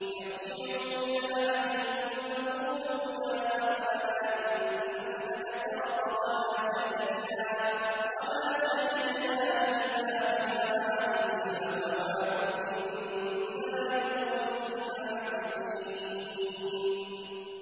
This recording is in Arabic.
ارْجِعُوا إِلَىٰ أَبِيكُمْ فَقُولُوا يَا أَبَانَا إِنَّ ابْنَكَ سَرَقَ وَمَا شَهِدْنَا إِلَّا بِمَا عَلِمْنَا وَمَا كُنَّا لِلْغَيْبِ حَافِظِينَ